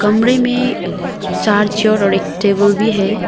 कमरे में चार चेयर और ऐक टेबल भी है।